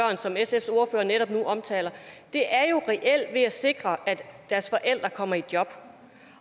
som sfs ordfører netop nu omtaler reelt er ved at sikre at deres forældre kommer i job